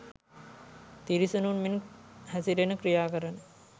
තිරිසනුන් මෙන් හැසිරෙන ක්‍රියා කරන